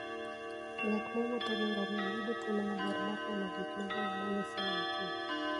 Ng'at mowuotho gi ngamia yudo thuolo maber mar neno gik mabeyo ma Nyasaye nochueyo.